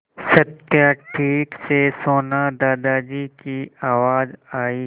सत्या ठीक से सोना दादाजी की आवाज़ आई